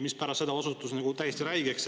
Pärast osutus see täiesti räigeks.